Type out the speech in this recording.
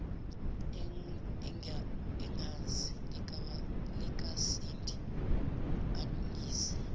yegazi likasindi alungise